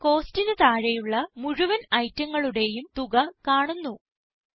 ഇവിടെ Costന് താഴെയുള്ള മുഴുവൻ ഐറ്റങ്ങളുടേയും തുക കാണുന്നു